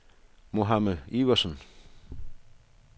Mohamed Iversen